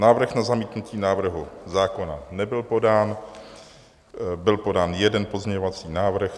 Návrh na zamítnutí návrhu zákona nebyl podán, byl podán jeden pozměňovací návrh.